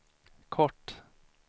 kort